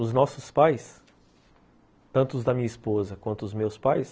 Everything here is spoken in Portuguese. Os nossos pais, tanto os da minha esposa quanto os meus pais,